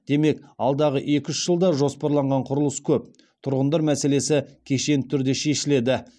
демек алдағы екі үш жылда жоспарланған құрылыс көп тұрғындар мәселесі кешенді түрде шешіледі